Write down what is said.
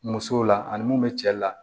Musow la ani mun bɛ cɛ la